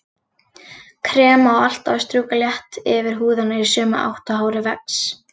Krem á alltaf að strjúka létt yfir húðina í sömu átt og hárið vex.